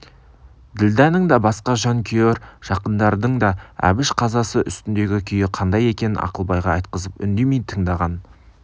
ділдәның да басқа жан күйер жақындардың да әбіш қазасы үстіндегі күйі қандай екенін ақылбайға айтқызып үндемей тыңдаған